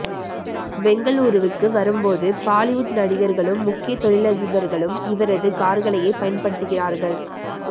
பெங்களூருவுக்கு வரும்போது பாலிவுட் நடிகர்களும் முக்கிய தொழிலதிபர்களும் இவரது கார்களையே பயன்படுத்துகிறார்கள்